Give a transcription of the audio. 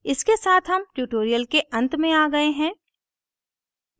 इसके साथ हम tutorial के अंत में आ गए हैं